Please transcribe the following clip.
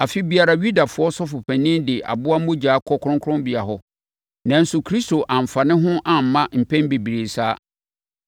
Afe biara Yudafoɔ Sɔfopanin de aboa mogya kɔ Kronkronbea hɔ. Nanso, Kristo amfa ne ho amma mpɛn bebree saa.